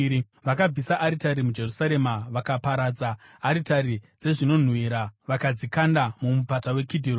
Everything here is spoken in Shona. Vakabvisa aritari muJerusarema vakaparadza aritari dzezvinonhuhwira vakadzikanda muMupata weKidhironi.